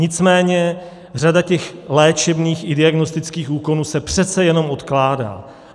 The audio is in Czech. Nicméně řada těch léčebných i diagnostických úkonů se přece jenom odkládá.